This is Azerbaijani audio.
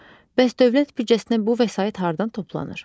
Bəs dövlət büdcəsinə bu vəsait hardan toplanır?